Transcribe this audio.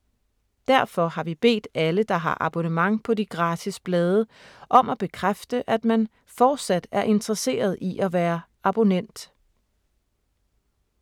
Derfor har vi bedt alle, der har abonnement på de gratis blade, om at bekræfte, at man fortsat er interesseret i at være abonnent.